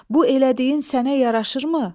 Bu elədiyin sənə yaraşırmı?